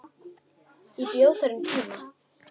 Ég bjó þar um tíma.